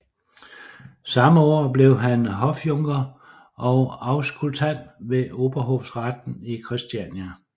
Samme år blev han hofjunker og auskultant ved Overhofretten i Christiania